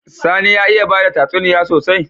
Sani ya iya bada tatsuniya sosai?